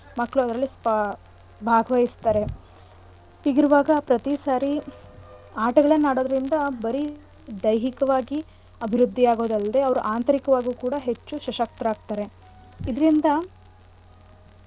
ಮಕ್ಳು ಅದ್ರಲ್ಲಿ ಬಾ~ ಭಾಗವಹಿಸ್ತಾರೆ ಹೀಗಿರುವಾಗ ಪ್ರತೀ ಸಾರಿ ಆಟಗಳ್ನ ಆಡೋದ್ರಿಂದ ಬರೀ ದೈಹಿಕವಾಗಿ ಅಭಿವೃದ್ಧಿ ಆಗೋದಲ್ಡೆ ಅವ್ರು ಆಂತರಿಕವಾಗೂ ಕೂಡ ಹೆಚ್ಚು ಸಶಕ್ತರಾಗ್ತಾರೆ. ಇದ್ರಿಂದ,